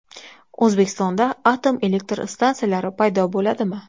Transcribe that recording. O‘zbekistonda atom elektr stansiyalari paydo bo‘ladimi?.